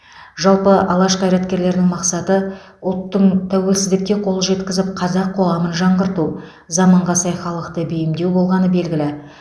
жалпы алаш қайраткерлерінің мақсаты ұлттың тәуелсіздікке қол жеткізіп қазақ қоғамын жаңғырту заманға сай халықты бейімдеу болғаны белгілі